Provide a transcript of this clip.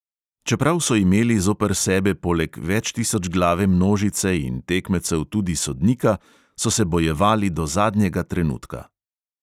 Čeprav so imeli zoper sebe poleg večtisočglave množice in tekmecev tudi sodnika, so se bojevali do zadnjega trenutka.